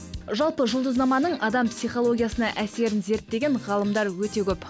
жалпы жұлдызнаманың адам психологиясына әсерін зерттеген ғалымдар өте көп